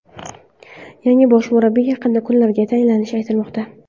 Yangi bosh murabbiy yaqin kunlarda tayinlanishi aytilmoqda.